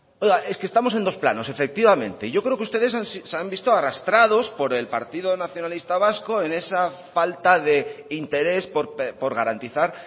oiga es que estamos en dos planos efectivamente yo creo que ustedes se han visto arrastrados por el partido nacionalista vasco en esa falta de interés por garantizar